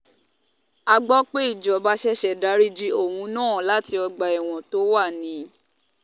a gbọ́ pé ìjọba ṣẹ̀ṣẹ̀ dariji òun náà láti ọgbà ẹ̀wọ̀n tó wà ni